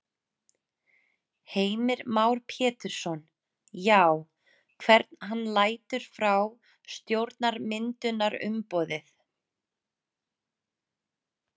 Heimir Már Pétursson: Já, hvern hann lætur frá stjórnarmyndunarumboðið?